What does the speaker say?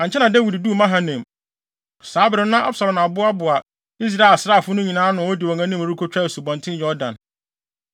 Ankyɛ na Dawid duu Mahanaim. Saa bere no na Absalom aboaboa Israel asraafo no nyinaa ano a odi wɔn anim rekotwa Asubɔnten Yordan.